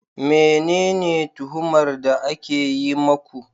Menene tuhumar da ake yi muku